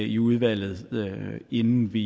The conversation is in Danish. i udvalget inden vi